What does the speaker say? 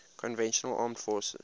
conventional armed forces